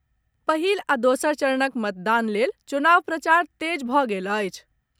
पहिल आ दोसर चरणक मतदान लेल चुनाव प्रचार तेज भऽ गेल अछि।